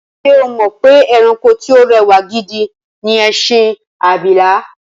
Ṣé o mọ̀ pé ẹranko tí o rẹwà gidi ni ẹṣin abìlà?